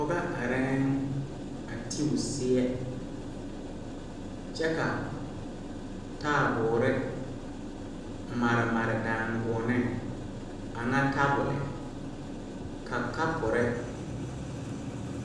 Pɔgɔ areɛɛŋ a te o seɛ kyɛ ka taaboore mare mare danguoɔneŋ a ŋa tabole ka kapurre